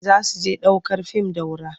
Za su je ɗ aukar fim Daura.